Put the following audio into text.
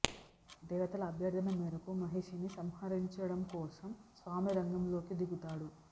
దేవతల అభ్యర్థన మేరకు మహిషిని సంహరించడం కోసం స్వామి రంగంలోకి దిగుతాడు